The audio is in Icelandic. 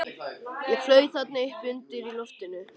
Ég flaut þarna uppi undir lofti.